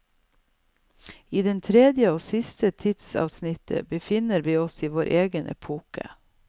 I det tredje og siste tidsavsnittet befinner vi oss i vår egen epoke.